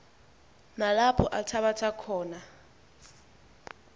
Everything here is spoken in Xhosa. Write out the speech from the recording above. nalapho althabatha khona